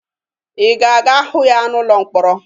Ị ga-aga hụ ya n'ụlọ mkpọrọ?